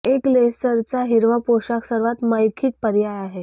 एक लेसरचा हिरवा पोशाख सर्वात मौखिक पर्याय आहे